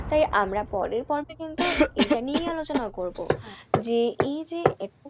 তাই আমরা পরের পর্বে কিন্তু এইটা নিয়েই আলোচনা করবো। যে এই যে,